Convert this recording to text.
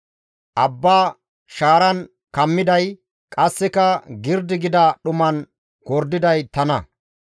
Abba shaaran kammiday Qasseka girdi gida dhuman gordiday tana.